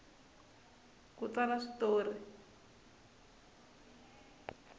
ku tsala swi tori